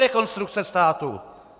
Rekonstrukce státu?